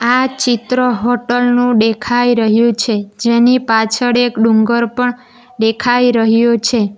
આ ચિત્ર હોટલ નું દેખાઈ રહ્યું છે જેની પાછળ એક ડુંગર પણ દેખાઈ રહ્યો છે.